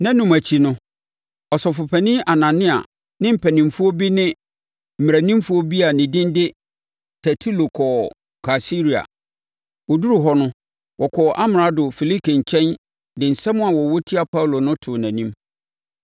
Nnanum akyi no, Ɔsɔfopanin Anania ne mpanimfoɔ bi ne mmaranimfoɔ bi a ne din de Tertulo kɔɔ Kaesarea. Wɔduruu hɔ no, wɔkɔɔ Amrado Felike nkyɛn de nsɛm a wɔwɔ tia Paulo no too nʼanim.